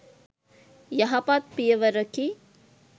යහපත් පියවරකි.